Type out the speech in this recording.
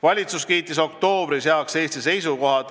Valitsus kiitis oktoobris heaks Eesti seisukohad.